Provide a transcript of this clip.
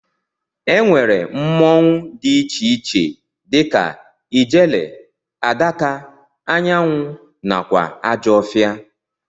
Ennwere mmụọnwu di iche iche dika ijele, adaka, anyanwụ nakwa ajọfia.